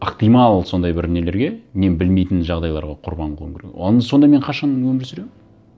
ықтимал сондай бір нелерге мен білмейтін жағдайларға құрбан қылуым керек оны сонда мен қашан өмір сүремін